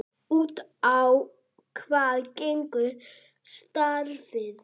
Út á hvað gengur starfið?